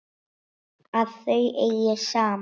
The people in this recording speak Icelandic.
Að þau eigi saman.